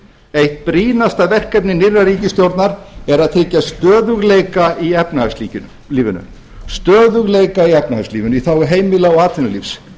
eitt brýnasta verkefni nýrrar ríkisstjórnar er að tryggja stöðugleika í efnahagslífinu í þágu heimila og atvinnulífs